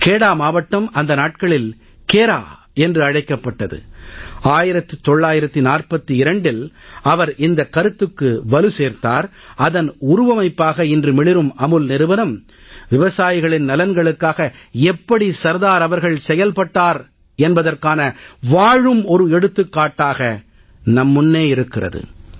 கேடா மாவட்டம் அந்த நாட்களில் கேரா என்று அழைக்கப்பட்டது 1942இல் அவர் இந்தக் கருத்துக்கு வலு சேர்த்தார் அதன் உருவமைப்பாக இன்று மிளிரும் அமுல் நிறுவனம் விவசாயிகளின் நலன்களுக்காக எப்படி சர்தார் அவர்கள் செயல்பட்டார் என்பதற்கான வாழும் ஒரு எடுத்துக்காட்டாக நம் முன்னே இருக்கிறது